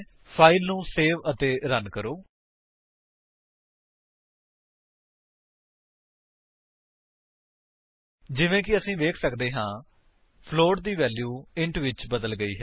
file ਨੂੰ save ਅਤੇ run ਕਰੋ ਜਿਵੇਂ ਕਿ ਅਸੀ ਵੇਖ ਸੱਕਦੇ ਹਾਂ ਫਲੋਟ ਦੀ ਵੈਲਿਊ ਇੰਟ ਵਿੱਚ ਬਦਲ ਗਈ ਹੈ